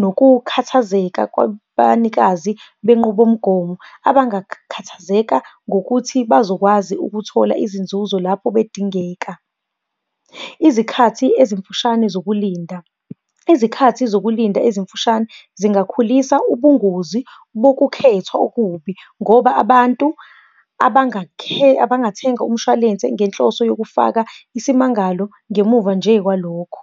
nokukhathazeka kwabanikazi benqubomgomo abangakhathazeka ngokuthi bazokwazi ukuthola izinzuzo lapho bedingeka. Izikhathi ezimfushane zokulinda, izikhathi zokulinda ezimfushane zingakhulisa ubungozi bokukhethwa okubi, ngoba abantu abangathenga umshwalense ngenhloso yokufaka isimmangalo, ngemuva nje kwalokho.